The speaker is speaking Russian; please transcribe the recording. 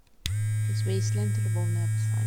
у тебя есть лента любовное послание